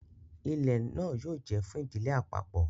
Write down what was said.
Ilẹ náà yóò jẹ fún ìdílé àpapọ